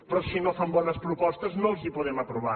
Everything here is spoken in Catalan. però si no van bones propostes no els les podem aprovar